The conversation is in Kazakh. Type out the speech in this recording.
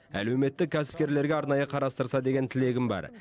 әлеуметтік кәсіпкерлерге арнайы қарастырса деген тілегім бар